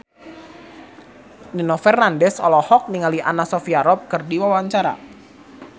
Nino Fernandez olohok ningali Anna Sophia Robb keur diwawancara